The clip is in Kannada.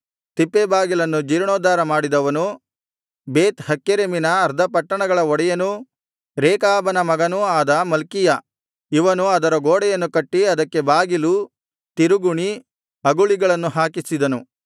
ತಿಪ್ಪೆಬಾಗಿಲನ್ನು ಜೀರ್ಣೋದ್ಧಾರ ಮಾಡಿದವನು ಬೇತ್ ಹಕ್ಕೆರೆಮಿನ ಅರ್ಧ ಪಟ್ಟಣಗಳ ಒಡೆಯನೂ ರೇಕಾಬನ ಮಗನೂ ಆದ ಮಲ್ಕೀಯ ಇವನು ಅದರ ಗೋಡೆಯನ್ನು ಕಟ್ಟಿ ಅದಕ್ಕೆ ಬಾಗಿಲು ತಿರುಗುಣಿ ಅಗುಳಿಗಳನ್ನು ಹಾಕಿಸಿದನು